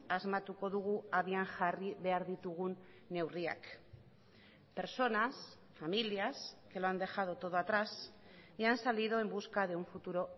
asmatuko dugu abian jarri behar ditugun neurriak personas familias que lo han dejado todo atrás y han salido en busca de un futuro